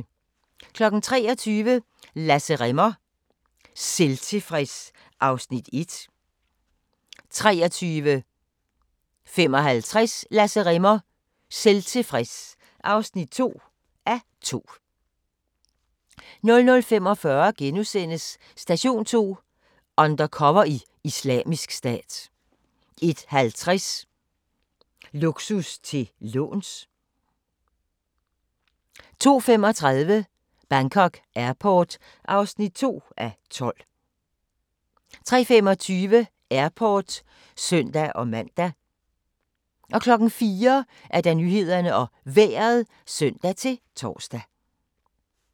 23:00: Lasse Rimmer "Selvtilfreds" (1:2) 23:55: Lasse Rimmer "Selvtilfreds" (2:2) 00:45: Station 2: Undercover i Islamisk Stat * 01:50: Luksus til låns 02:35: Bangkok Airport (2:12) 03:25: Airport (søn-man) 04:00: Nyhederne og Vejret (søn-tor)